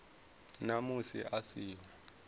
na musi a si ho